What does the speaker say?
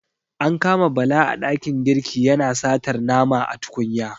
An kama Bala a ɗakin girki yana satar nama a tukunya.